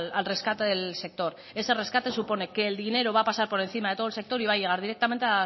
al rescate del sector ese rescate supone que el dinero va a pasar por encima de todo el sector y va a llegar directamente